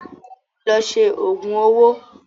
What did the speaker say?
Lọ ṣe òògùn owó!